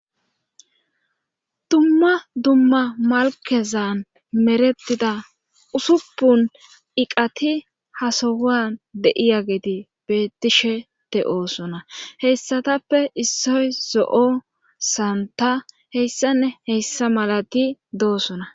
Dumma Dumma malkkezan merettida usuppuniqati ha sohan de7iyageti beettishe de7oososona heyssatappe issoy zo7o santtanne hessanne hessa malati doosona.